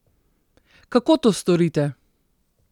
Kako to storite?